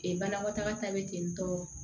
Ee banakɔtaga ta be ten tɔ